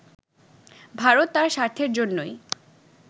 ভারত তার স্বার্থের জন্যই